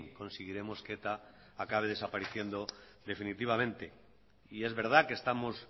conseguiremos que eta acabe desapareciendo definitivamente y es verdad que estamos